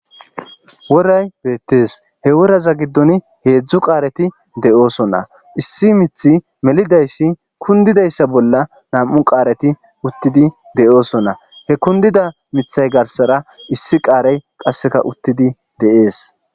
woray beettees he woraza giddon heedzdzu qaareti de'oosonna issi miiththi melidayssi kundidayssa bolla nam'u qaareti uttidi de'oosonna he kundida miiththay garsara issi qaarey qasseka uttidi deees